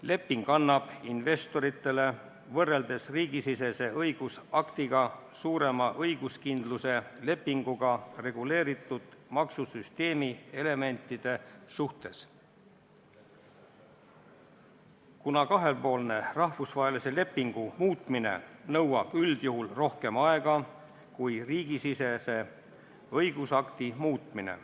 Leping annab investoritele võrreldes riigisisese õigusaktiga suurema õiguskindluse lepinguga reguleeritud maksusüsteemi elementide suhtes, kuna kahepoolne rahvusvahelise lepingu muutmine nõuab üldjuhul rohkem aega kui riigisisese õigusakti muutmine.